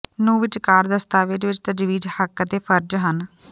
ਨੂੰ ਵਿਚਕਾਰ ਦਸਤਾਵੇਜ਼ ਵਿੱਚ ਤਜਵੀਜ਼ ਹੱਕ ਅਤੇ ਫਰਜ਼ ਹਨ